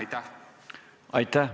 Aitäh!